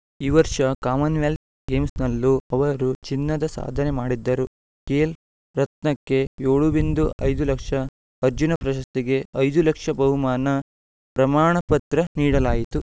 ಈ ವರ್ಷ ಕಾಮನ್ವೆಲ್ತ್‌ ಗೇಮ್ಸ್‌ನಲ್ಲೂ ಅವರು ಚಿನ್ನದ ಸಾಧನೆ ಮಾಡಿದ್ದರು ಖೇಲ್‌ ರತ್ನಕ್ಕೆ ಏಳು ಬಿಂದು ಐದು ಲಕ್ಷ ಅರ್ಜುನ ಪ್ರಶಸ್ತಿಗೆ ಐದು ಲಕ್ಷ ಬಹುಮಾನ ಪ್ರಮಾಣ ಪತ್ರ ನೀಡಲಾಯಿತು